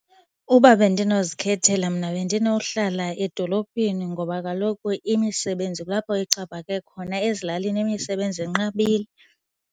Uba bendinozikhethela mna bendinohlala edolophini ngoba kaloku imisebenzi kulapho ixhaphake khona. Ezilalini imisebenzi inqabile.